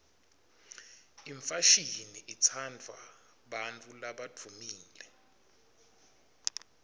imfashini itsandvwa bantfu labadvumile